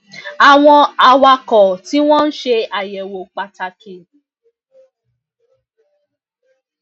àwọn awakò tí wón ń ṣe àyèwò pàtàkì um